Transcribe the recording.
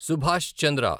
Subhash Chandra